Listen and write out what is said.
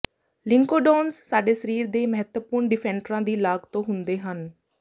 ਲਿਨਕੋਡੌਨਜ਼ ਸਾਡੇ ਸਰੀਰ ਦੇ ਮਹੱਤਵਪੂਰਣ ਡਿਫੈਂਟਰਾਂ ਦੀ ਲਾਗ ਤੋਂ ਹੁੰਦੇ ਹਨ